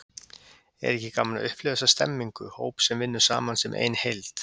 Er ekki gaman að upplifa þessa stemningu, hóp sem vinnur saman sem ein heild?